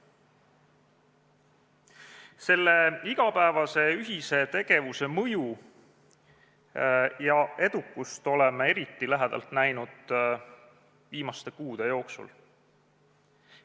Selle igapäevase ühise tegevuse mõju ja edukust oleme eriti lähedalt näinud viimaste kuude jooksul.